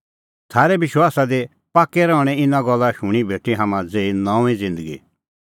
थारै विश्वासा दी पाक्कै रहणें इना गल्ला शूणीं भेटी हाम्हां ज़ेही नऊंईं ज़िन्दगी